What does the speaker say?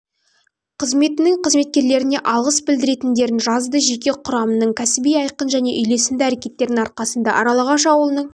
қызметінің қызметкерлеріне алғыс білдіретіндерін жазды жеке құрамның кәсіби айқын және үйлесімді әрекеттерінің арқасында аралағаш ауылының